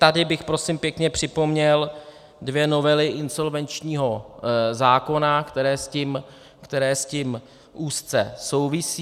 Tady bych prosím pěkně připomněl dvě novely insolvenčního zákona, které s tím úzce souvisí.